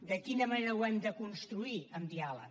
de quina manera ho hem de construir amb diàleg